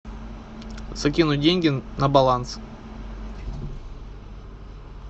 закинуть деньги на баланс